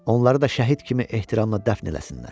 Onları da şəhid kimi ehtiramla dəfn eləsinlər."